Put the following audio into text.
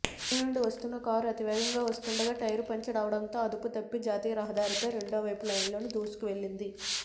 తునినుండి వస్తున్న కారు అతివేగంగా వస్తూండగా టైరు పంచర్ అవడంతో అదుపుతప్పి జాతీయరహదారిపై రెండోవైపు లైన్లోకి దూసుకువెళ్లింది